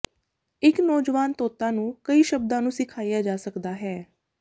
ਇੱਕ ਨੌਜਵਾਨ ਤੋਤਾ ਨੂੰ ਕਈ ਸ਼ਬਦਾਂ ਨੂੰ ਸਿਖਾਇਆ ਜਾ ਸਕਦਾ ਹੈ